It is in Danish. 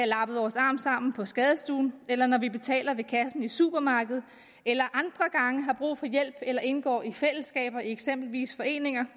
lappet vores arm sammen på skadestuen eller når vi betaler ved kassen i supermarkedet eller andre gange har brug for hjælp eller indgår i fællesskaber i eksempelvis foreninger